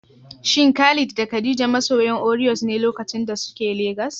Shin Khalid da Khadija masoyan Oreos ne lokacin da suke Legas?